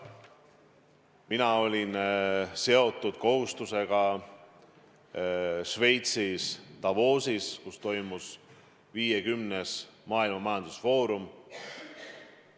Mina olin seotud kohustusega Šveitsis Davosis, kus toimus 50. maailma majandusfoorum.